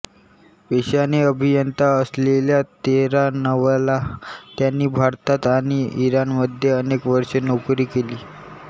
पेशाने अभियंता असलेल्या तेहरानवाला यांनी भारतात आणि इराणमध्ये अनेक वर्षे नोकरी केली